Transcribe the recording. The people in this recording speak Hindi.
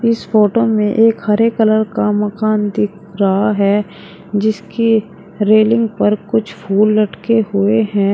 इस फोटो में एक हरे कलर का मकान दिख रहा है जिसकी रेलिंग पर कुछ फूल लटके हुए हैं।